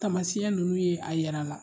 Tamasiya ninnu ye a yir'a la.